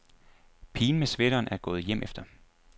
Pigen med sweateren er gået hjemefter.